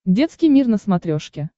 детский мир на смотрешке